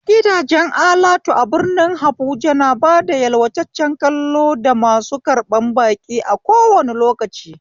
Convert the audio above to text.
Gidajen alatu a birnin habuja na bada yalwataccen kallo da masu karɓan baki a kowane lokaci